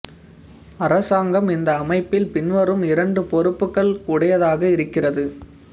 அரசாங்கம் இந்த அமைப்பில் பின்வரும் இரண்டு பொறுப்புக்கள் உடையதாக இருக்கிறது